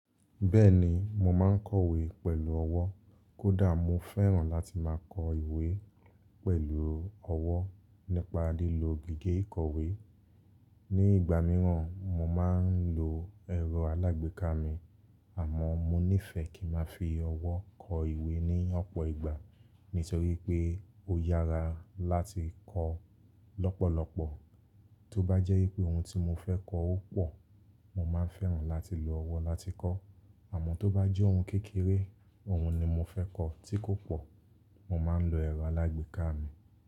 Bẹ́ẹ̀ni mo máa ń kọ̀wé pẹ̀lú ọwọ́ kódà mo fẹ́ràn láti máa kọ ìwé pẹ̀lú ọwọ́ nípa lílo gègé ìkọ̀wé. Ni ìgbà mìíràn mo máa ń lo ẹ̀rọ alágbèéká mi, àmọ́ mo nífẹ̀ẹ́ kí ma fi ọwọ́ kọ ìwé ní ọ̀pọ̀ ìgbà nítorí pé ó yára láti kọ lọ́pọ̀lọpọ̀. Tóbá jẹ́ wípé oun tí mo fẹ́ kọ ó pò, mo máa fẹ́ràn láti lo ọwọ́ láti kọ́, àmọ́ tó bá jẹ́ oun kékeré, oun ni mo fẹ́ kọ tí kò pọ̀, mo máa ń lo ẹ̀rọ alágbèéká mi.